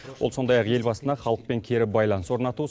ол сондай ақ елбасына халықпен кері байланыс орнату